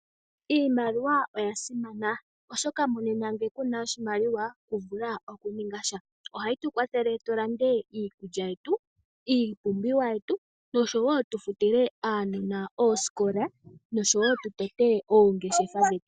Iimaliwa oya simana oshoka monena ngele kuna oshimaliwa kuna shi to vulu. Oha yi tu kwathele tu lande iikulya yetu, iipumbiwa yetu noshowo tu futile aanona oosikola noshowo tutote oongeshefa dhetu.